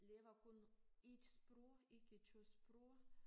Lave kun 1 sprog ikke 2 sprog